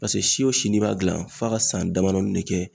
Paseke si o si b'a gilan f'a ka san damadɔni ne kɛ